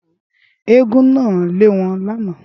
Éégún náà lé wọn ní àná